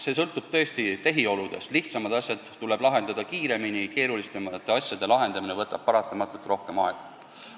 See sõltub tõesti tehioludest: lihtsamad asjad tuleb lahendada kiiremini, keerulisemate asjade lahendamine võtab paratamatult rohkem aega.